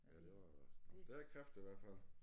Ja det var nogle stærke kræfter i hvert fald